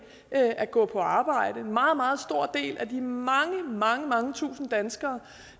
at gå på arbejde en meget meget stor del af de mange mange mange tusinde danskere